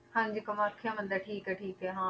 ਹਾਂਜੀ ਕਮਾਥਿਆ ਮੰਦਿਰ, ਠੀਕ ਹੈ ਠੀਕ ਹੈ ਹਾਂ